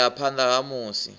ṱo ḓea phanḓa ha musi